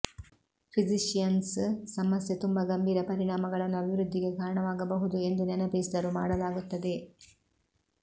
physicians ಸಮಸ್ಯೆ ತುಂಬಾ ಗಂಭೀರ ಪರಿಣಾಮಗಳನ್ನು ಅಭಿವೃದ್ಧಿಗೆ ಕಾರಣವಾಗಬಹುದು ಎಂದು ನೆನಪಿಸಿದರು ಮಾಡಲಾಗುತ್ತದೆ